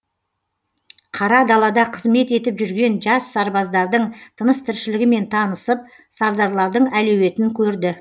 қара далада қызмет етіп жүрген жас сарбаздардың тыныс тіршілігімен танысып сардарлардың әлеуетін көрді